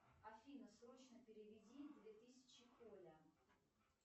афина срочно переведи две тысячи оля